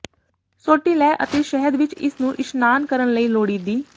ਸੋਟੀ ਲੈ ਅਤੇ ਸ਼ਹਿਦ ਵਿੱਚ ਇਸ ਨੂੰ ਇਸ਼ਨਾਨ ਕਰਨ ਲਈ ਲੋੜੀਦੀ